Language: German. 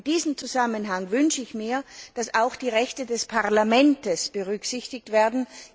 In diesem Zusammenhang wünsche ich mir, dass auch die Rechte des Parlaments berücksichtigt werden.